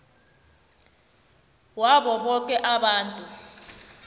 wabo boke abantu